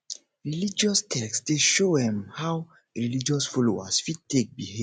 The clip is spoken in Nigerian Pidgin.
religious text dey show um how religious folowers fit take behave